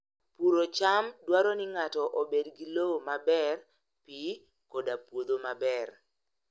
Puro cham dwaro ni ng'ato obed gi lowo maber, pi, koda puodho maber.